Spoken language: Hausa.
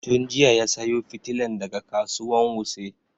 Tun jiya ya sayo fitilan daga kasuwan wuse